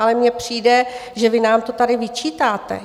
Ale mně přijde, že vy nám to tady vyčítáte.